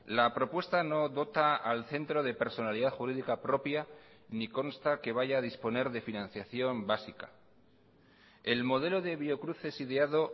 la propuesta no dota al centro de personalidad jurídica propia ni consta que vaya a disponer de financiación básica el modelo de biocruces ideado